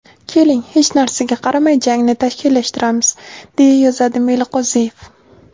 Keling, hech narsaga qaramay jangni tashkillashtiramiz”, deya yozadi Meliqo‘ziyev.